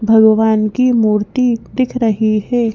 भगवान की मूर्ति दिख रही है।